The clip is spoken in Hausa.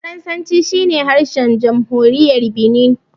Faransanci shi ne harshen jamhuriyar Binin.